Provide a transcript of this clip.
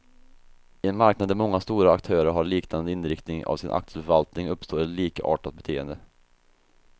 I en marknad där många stora aktörer har liknande inriktning av sin aktieförvaltning, uppstår ett likartat beteende.